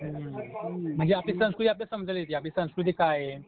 हुं, म्हणजे आपली संस्कृती आपल्याला समजायला येती, आपली संस्कृती काय आहे?